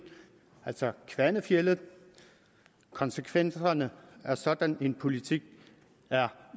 altså kvanefjeldet konsekvenserne af sådan en politik er